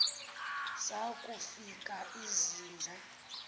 zaku fika izinja